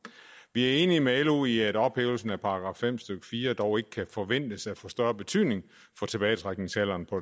vi er enige med lo i at ophævelsen af § fem stykke fire dog ikke kan forventes at få større betydning for tilbagetrækningsalderen på